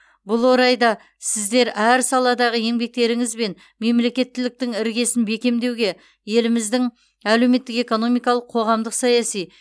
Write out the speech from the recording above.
бұл орайда сіздер әр саладағы еңбектеріңізбен мемлекеттіліктің іргесін бекемдеуге еліміздің әлеуметтік экономикалық қоғамдық саяси